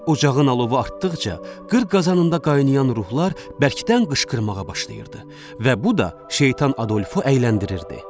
Ocağın alovu artdıqca qır qazanında qaynaşan ruhlar bərkdən qışqırmağa başlayırdı və bu da Şeytan Adolfu əyləndirirdi.